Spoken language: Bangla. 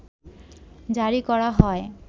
জারি করা হয়